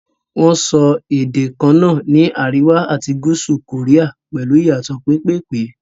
Wọn ń sọ èdè kaná ní àríwá àti gúúsù kòríà pẹ̀lú ìyàtò pẹ́pẹ̀pẹ́.